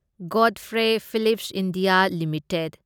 Godfrey Phillips India limited